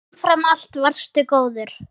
En umfram allt varstu góður.